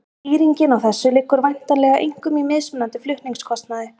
Skýringin á þessu liggur væntanlega einkum í mismunandi flutningskostnaði.